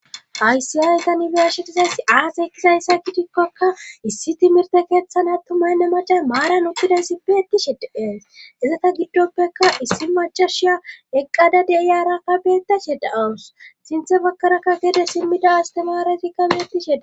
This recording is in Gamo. aysi aayeta nibiashetizaysi aas ekizayssa kidikkokka issi timirte keeththan attumaynne macay maaran utxida sipe ettishedeees izata giddoppeka issi macashiya eqqada deiyara kabeeta sheda awus sinthe bakkarakka gede simmida astemaara tikkabe ettishedae